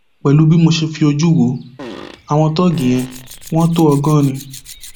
pẹlú bí mo ṣe fojú wo àwọn tóógì yẹn wọn tó ọgọrin